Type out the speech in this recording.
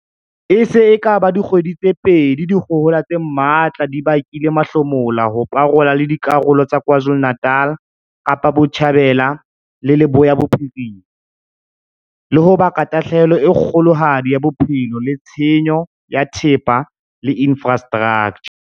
E se e ka ba dikgwedi tse pedi dikgohola tse matla di bakile mahlomola ho parola le dikarolo tsa KwaZulu-Natal, Kapa Botjhabela le Leboya Bophirima, le ho baka tahlehelo e kgolohadi ya bophelo le tshenyo ya thepa le infra straktjha.